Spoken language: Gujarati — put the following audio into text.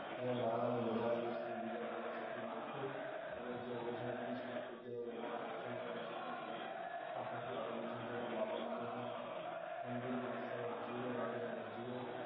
અહી નાણા નુ બજાર દેશ નુ બીજા ક્ર્મમા સૌથી મોટું ત્યા રોજ ના ત્રીસ લાખ નો વ્યાપાર થાય છે અહી નજીક ના ઘણા સ્થાપત્યો આવેલો છે જેમાં બાબા માંણેક ના મંદિર બાદશાહ ના મજીદો રાણીના મજીદો